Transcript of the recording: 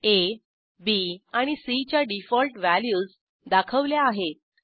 आ B आणि C च्या default values दाखवल्या आहेत